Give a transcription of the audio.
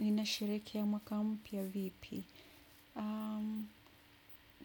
Ninasherehekea mwaka mpya vipi?